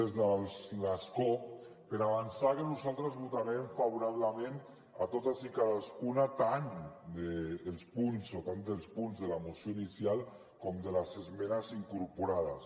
des de l’escó per avançar que nosaltres votarem favorablement a totes i cadascuna tant dels punts o tant dels punts de la moció inicial com de les esmenes incorporades